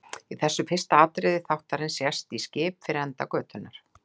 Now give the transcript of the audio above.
Í þessu fyrsta atriði þáttarins sést í skip fyrir enda götunnar.